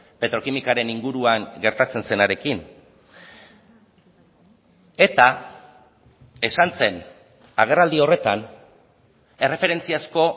petrokimikaren inguruan gertatzen zenarekin eta esan zen agerraldi horretan erreferentziazko